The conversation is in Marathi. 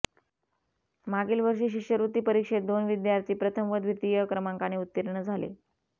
मागील वर्षी शिष्यवृत्ती परीक्षेत दोन विद्यार्थी प्रथम व द्वितीय क्रमांकाने उत्तीर्ण झाले